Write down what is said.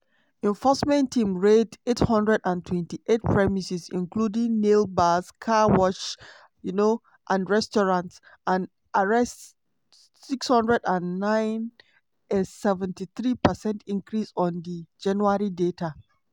enforcement team raid 828 premises including nail bars car washes um and restaurants and arrest 609 - a 73 percent increase on di january data.